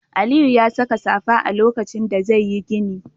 Aliyu ya saka safa lokacin da zai yi gini.